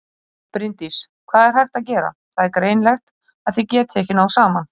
Bryndís: Hvað er hægt að gera, það er greinilegt að þið getið ekki náð saman?